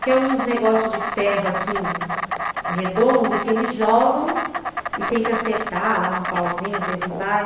Que é uns negócios de ferro, assim, redondo, que eles jogam e tem que acertar lá num pauzinho, derrubar.